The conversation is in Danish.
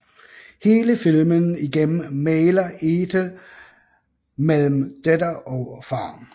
Hele filmen igennem mægler Ethel mellem datter og far